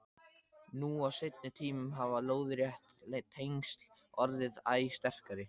Nú á seinni tímum hafa lóðrétt tengsl orðið æ sterkari.